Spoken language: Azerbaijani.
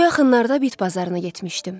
Bu yaxınlarda bit bazarına getmişdim.